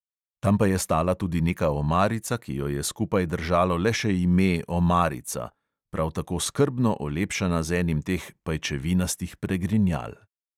Tam pa je stala tudi neka omarica, ki jo je skupaj držalo le še ime "omarica", prav tako skrbno olepšana z enim teh pajčevinastih pregrinjal.